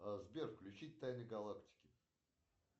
сбер включить тайны галактики